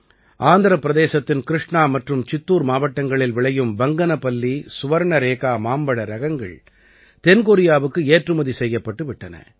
ஆந்திரப் பிரதேசத்தின் கிருஷ்ணா மற்றும் சித்தூர் மாவட்டங்களில் விளையும் பங்கனபல்லி சுவர்ணரேகா மாம்பழ ரகங்கள் தென் கொரியாவுக்கு ஏற்றுமதி செய்யப்பட்டு விட்டன